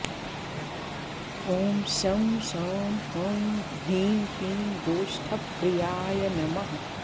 ॐ शं शां षं ह्रीं क्लीं गोष्ठप्रियाय नमः